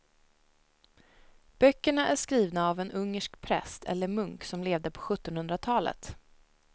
Böckerna är skrivna av en ungersk präst eller munk som levde på sjuttonhundratalet.